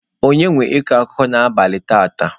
Onye nwe ịkọ akụkọ n'abalị taata?